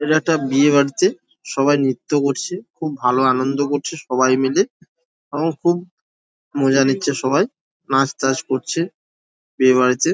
এটা একটা বিয়েবাড়িতে সবাই নৃত্য করছে। খুব ভালো আনন্দ করছে সবাই মিলে এবং খুব মজা নিচ্ছে সবাই। নাচ টাচ করছে বিয়েরবাড়িতে।